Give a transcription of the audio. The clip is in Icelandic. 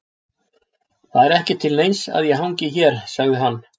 Það er ekki til neins að ég hangi hér, sagði hann.